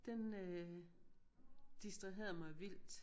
Den øh distraherede mig vildt